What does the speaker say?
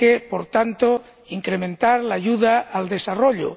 Por tanto, hay que incrementar la ayuda al desarrollo